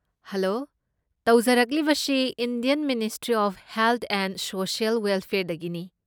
Hello! ꯇꯧꯖꯔꯛꯂꯤꯕꯁꯤ Indian ministry of health and social ꯋꯦꯜꯐꯦꯌꯔꯗꯒꯤꯅꯤ꯫